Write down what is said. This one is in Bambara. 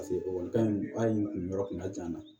ekɔlikara in hali n'u yɔrɔ kun ka jan